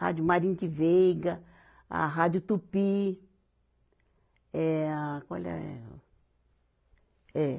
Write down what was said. Rádio Mayrink Veiga, a Rádio Tupi, é a, qual é o? É